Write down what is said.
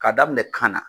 K'a daminɛ kan na